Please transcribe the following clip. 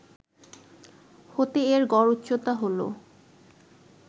হতে এর গড় উচ্চতা হল